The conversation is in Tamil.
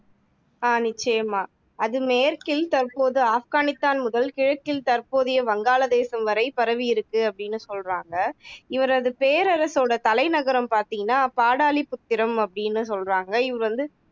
ஆஹ் நிச்சயமா அது மேற்கில் தற்போதைய ஆப்கானித்தான் முதல் கிழக்கில் தற்போதைய வங்காளதேசம் வரை பரவியிருக்கு அப்படின்னு சொல்றாங்க இவரது பேரரசோட தலைநகரம் பாத்தீங்கன்னா பாடலிபுத்திரம் அப்படின்னு சொல்றாங்க இவர் வந்து